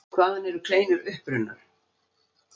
Hvaðan eru kleinur upprunnar?